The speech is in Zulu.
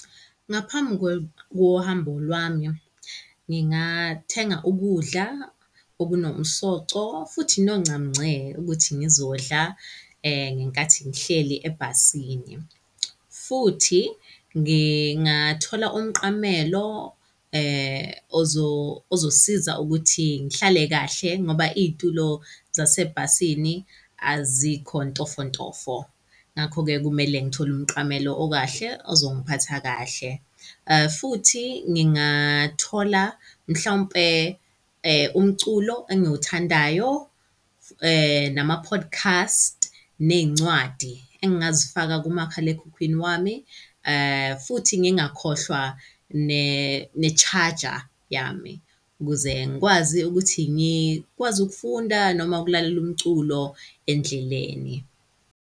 Ngaphambi kohambo lwami, ngingathenga ukudla okunomsoco futhi noncamunce ukuthi ngizodla ngenkathi ngihleli ebhasini. Futhi ngingathola umqamela ozosiza ukuthi ngihlale kahle ngoba iy'tulo zasebhasini azikho ntofontofo. Ngakho-ke kumele ngithole umqamelo okahle ezongiphatha kahle futhi ngingathola mhlawumpe umculo engiwuthandayo nama-podcast, ney'ncwadi engingazifaka kumakhalekhukhwini wami. Futhi ngingakhohlwa ne-charger yami, ukuze ngikwazi ukuthi ngikwazi ukufunda noma ukulalela umculo endleleni.